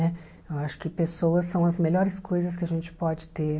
Né? Eu acho que pessoas são as melhores coisas que a gente pode ter.